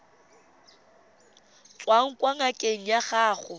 tswang kwa ngakeng ya gago